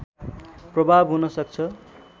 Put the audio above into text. प्रभाव हुन सक्छ